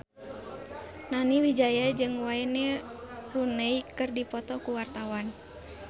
Nani Wijaya jeung Wayne Rooney keur dipoto ku wartawan